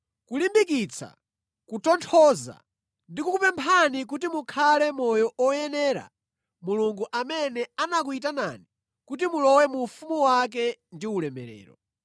kulimbikitsa, kutonthoza ndi kukupemphani kuti mukhale moyo oyenera Mulungu amene anakuyitanani kuti mulowe mu ufumu wake ndi ulemerero.